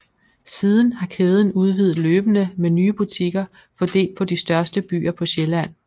Siden har kæden udvidet løbende med nye butikker fordelt på de største byer på Sjælland